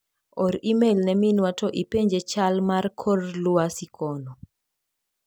Or imel ne minwa to ipenje chal mar kor luasi kono.